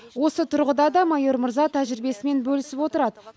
осы тұрғыда да майор мырза тәжірибесімен бөлісіп отырады